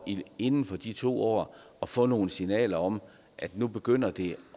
inden for de to år at få nogle signaler om at nu begynder det